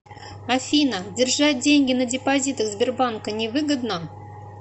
афина держать деньги на депозитах сбербанка невыгодно